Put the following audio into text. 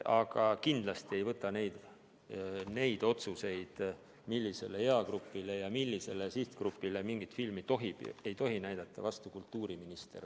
Aga kindlasti ei võta neid otsuseid, millisele eagrupile ja millisele sihtgrupile mingit filmi tohib või ei tohi näidata, vastu kultuuriminister.